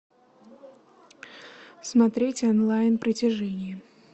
смотреть онлайн притяжение